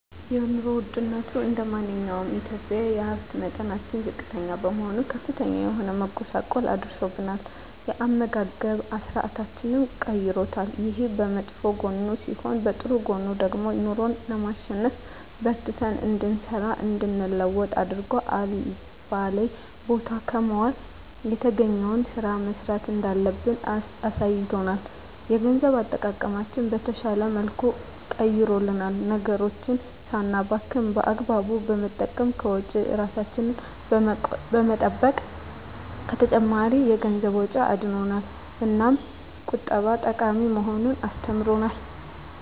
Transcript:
የኑሮ ወድነቱ እንደማንኛውም ኢትዮጵያዊ የሀብት መጠናችን ዝቅተኛ በመሆኑ ከፍተኛ የሆነ መጎሳቆል አድርሶብናል የአመጋገብ ስርአታችንንም ቀይሮታል። ይሄ በመጥፎ ጎኑ ሲሆን በጥሩ ጎኑ ደግሞ ኑሮን ለማሸነፍ በርትተን እንድንሰራ እንድንለወጥ አድርጎ አልባሌ ቦታ ከመዋል የተገኘዉን ስራ መስራት እንዳለብን አሳይቶናል። የገንዘብ አጠቃቀማችንን በተሻለ መልኩ ቀይሮልናል ነገሮችን ሳናባክን በአግባቡ በመጠቀም ከወጪ እራሳችንን በመጠበቅ ከተጨማሪ የገንዘብ ወጪ አድኖናል። እናም ቁጠባ ጠቃሚ መሆኑን አስተምሮናል።